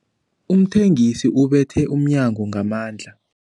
Umthengisi ubethe umnyango ngamandla.